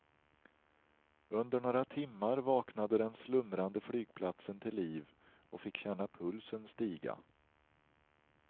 Under några timmar vaknade den slumrande flygplatsen till liv och fick känna pulsen stiga.